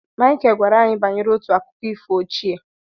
Michael gwara anyị banyere otu akụkọ ifo ochie.